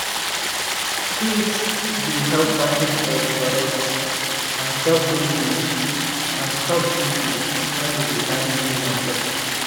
crate dey help package egg correct and stop breakage and stop breakage when you dey carry go market.